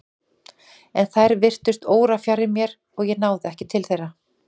En þær virtust órafjarri mér og ég náði ekki til þeirra.